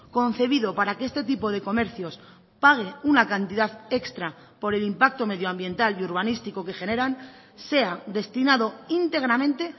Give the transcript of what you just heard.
concebido para que este tipo de comercios pague una cantidad extra por el impacto medioambiental y urbanístico que generan sea destinado íntegramente